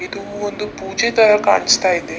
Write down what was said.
ಇದು ಒಂದು ಪೂಜೆ ತರ ಕಾಣಿಸ್ತಾ ಇದೆ .